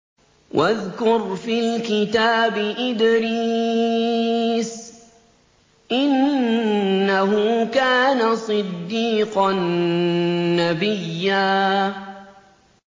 وَاذْكُرْ فِي الْكِتَابِ إِدْرِيسَ ۚ إِنَّهُ كَانَ صِدِّيقًا نَّبِيًّا